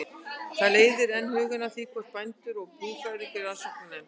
Þetta leiðir enn hugann að því, hvort bændur og búfræðingar í rannsóknarnefnd